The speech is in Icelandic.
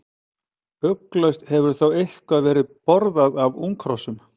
Ugglaust hefur þó eitthvað verið borðað af unghrossum.